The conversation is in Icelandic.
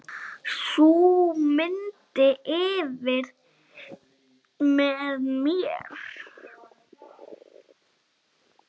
Sú mynd lifir með mér.